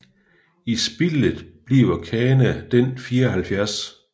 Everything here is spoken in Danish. I spillet bliver Kana den 74